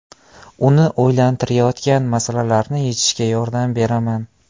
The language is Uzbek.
Uni o‘ylantirayotgan masalalarni yechishga yordam beraman.